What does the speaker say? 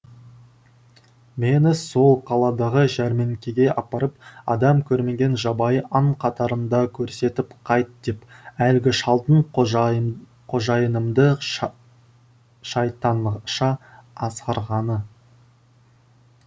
мені сол қаладағы жәрмеңкеге апарып адам көрмеген жабайы аң қатарында көрсетіп қайт деп әлгі шалдың қожайынымды шайтанша азғырғаны